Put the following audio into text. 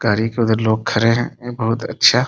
कारीगर वगेरह लोग खड़े हैं यह बहोत अच्छा --